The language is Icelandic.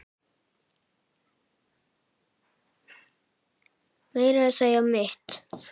Meira að segja mitt